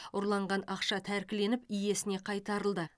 ұрланған ақша тәркіленіп иесіне қайтарылды